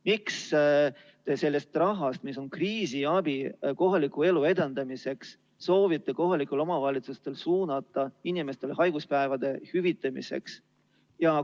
Miks te soovitate kohalikel omavalitsustel osa sellest rahast, mis on mõeldud kriisiabiks ja kohaliku elu edendamiseks, suunata inimeste haiguspäevade hüvitamiseks?